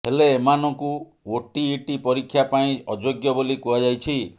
ହେଲେ ଏମାନଙ୍କୁ ଓଟିଇଟି ପରୀକ୍ଷା ପାଇଁ ଅଯୋଗ୍ୟ ବୋଲି କୁହାଯାଇଛି